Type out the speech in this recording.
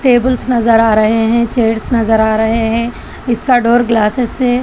tables नजर आ रहे हैं चेयर्स नजर आ रहे हैं इसका डोर ग्लासेस से--